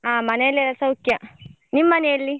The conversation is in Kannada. ಹಾ ಮನೆಯಲ್ಲೆಲ್ಲಾ ಸೌಖ್ಯ ನಿಮ್ ಮನೆಯಲ್ಲಿ?